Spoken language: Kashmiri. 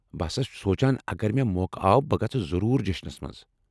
بہٕ ہسا سونٛچان اگر مےٚ موقع آو بہٕ گژھٕ ضروری جیٚشنس منز ۔